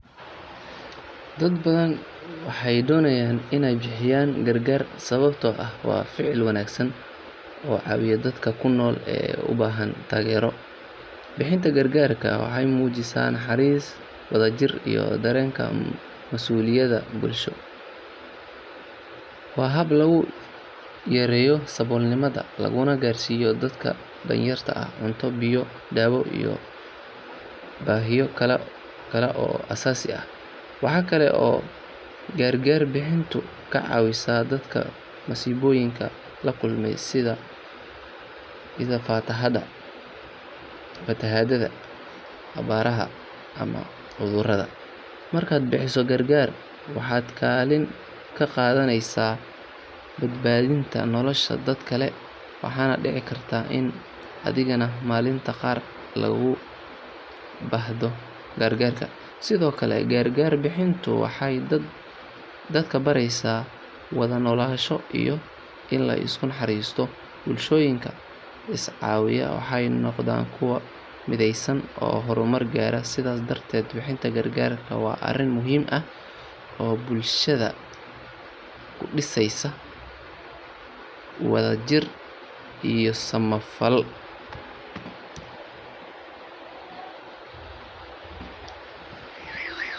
Dad badan waxay doonayaan inay bixiyaan gargaar sababtoo ah waa ficil wanaagsan oo caawiya dadka nugul ee u baahan taageero. Bixinta gargaarka waxay muujisaa naxariis, wadajir iyo dareenka mas’uuliyadda bulsho. Waa hab lagu yareeyo saboolnimada laguna gaarsiiyo dadka danyarta ah cunto, biyo, daawo iyo baahiyo kale oo aasaasi ah. Waxa kale oo gargaar bixintu ka caawisaa dadka masiibooyinka la kulmay sida fatahaadaha, abaaraha ama cudurrada. Markaad bixiso gargaar waxaad kaalin ka qaadaneysaa badbaadinta nolosha dad kale waxaana dhici karta in adigana maalinta qaar laguugu baahdo gargaar. Sidoo kale, gargaar bixintu waxay dadka baraysaa wada noolaansho iyo in la isu naxariisto. Bulshooyinka iscaawiya waxay noqdaan kuwo mideysan oo horumar gaara. Sidaas darteed, bixinta gargaarka waa arrin muhiim ah oo bulshada ku dhisaysa wadajir iyo samafal.